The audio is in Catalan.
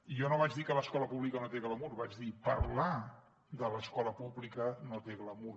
jo no vaig dir que l’escola pública no té glamur vaig dir parlar de l’escola pública no té glamur